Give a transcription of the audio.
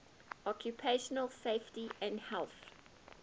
occupational safety and health